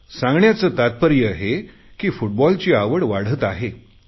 सांगण्याचे तात्पर्य हे की फुटबॉलची आवड वाढत आहे